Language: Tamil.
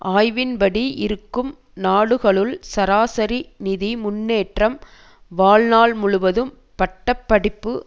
ஆய்வின்படி இருக்கும் நாடுகளுள் சராசரி நிதி முன்னேற்றம் வாழ்நாள் முழுவதும் பட்ட படிப்பு